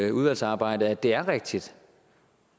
i udvalgsarbejdet at det er rigtigt